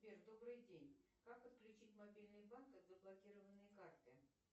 сбер добрый день как отключить мобильный банк от заблокированной карты